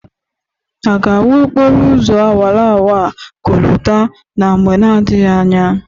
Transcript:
A ga-awụ okporo ụzọ awarawara a kolta na mgbe n'adịghị anya?